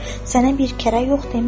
Sənə bir kərə yox demişəm.